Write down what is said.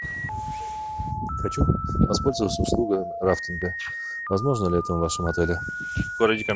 хочу воспользоваться услугой рафтинга возможно ли это в вашем отеле